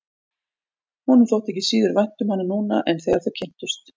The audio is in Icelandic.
Honum þótti ekki síður vænt um hana núna en þegar þau kynntust.